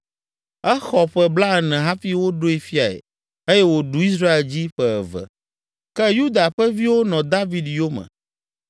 Exɔ ƒe blaene hafi woɖoe fiae eye wòɖu Israel dzi ƒe eve. Ke Yuda ƒe viwo nɔ David yome